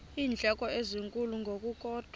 iindleko ezinkulu ngokukodwa